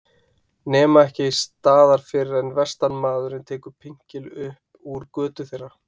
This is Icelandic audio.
Nema ekki staðar fyrr en vestanmaðurinn tekur pinkil upp úr götu þeirra.